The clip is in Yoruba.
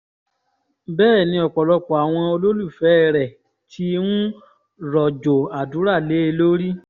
bẹ́ẹ̀ ni ọ̀pọ̀lọpọ̀ àwọn olólùfẹ́ rẹ̀ ti ń rọ̀jò àdúrà lé e lórí